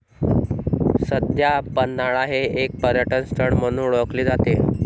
सध्या पन्हाळा हे एक पर्यटनस्थळ म्हणून ओळखले जाते.